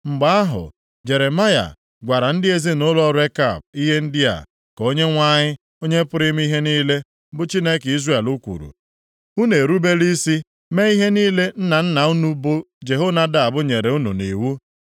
Mgbe ahụ, Jeremaya gwara ndị ezinaụlọ Rekab, “Ihe ndị a ka Onyenwe anyị, Onye pụrụ ime ihe niile, bụ Chineke Izrel kwuru, ‘Unu erubeela isi mee ihe niile nna nna unu bụ Jehonadab nyere unu nʼiwu.’